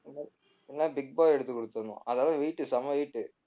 இல்லனா big boy எடுத்துகுடுத்தரணும் அதெல்லாம் weight உ செம weight உ